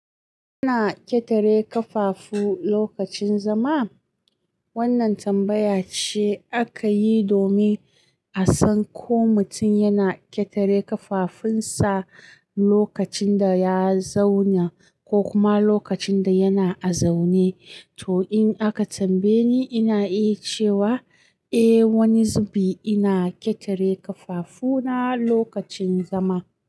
Ana ƙetare kafafu lokacin zama? Wannan tambaya ce aka yi domin a san ko mutum yana ƙetare ƙafafunsa lokacin da ya zauna ko kuma lokacin da yana a zaune. To, in aka tambaye ni, ina iya cewa, eh, wani zubi ina ƙetare kafafuna lokacin zama.